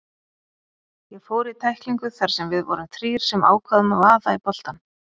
Ég fór í tæklingu þar sem við vorum þrír sem ákváðum að vaða í boltann.